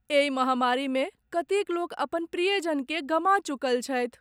एहि महामारीमे कतेक लोक अपन प्रियजनकेँ गमा चुकल छथि।